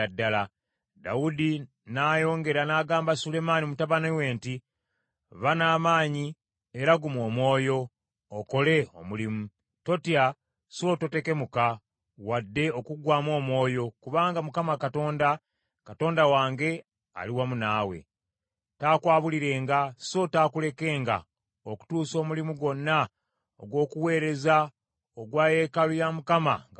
Dawudi n’ayongera n’agamba Sulemaani mutabani we nti, “Ba n’amaanyi era guma omwoyo, okole omulimu. Totya so totekemuka wadde okuggwamu omwoyo, kubanga Mukama Katonda, Katonda wange ali wamu naawe. Taakwabulirenga so taakulekenga okutuusa omulimu gwonna ogw’okuweereza ogwa yeekaalu ye Mukama nga guwedde.